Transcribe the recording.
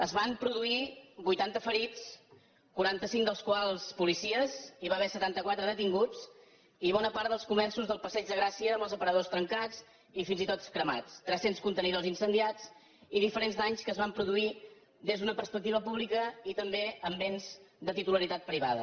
es van produir vuitanta ferits quaranta cinc dels quals policies hi va haver setanta quatre detinguts i bona part dels comerços del passeig de gràcia amb els aparadors trencats i fins i tot cremats tres cents contenidors incendiats i diferents danys que es van produir des d’una perspectiva pública i també en béns de titularitat privada